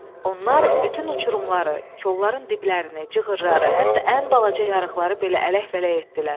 Onlar bütün uçurumları, kolların diblərini, cığırları, hətta ən balaca yarıqları belə ələk-vələk etdilər.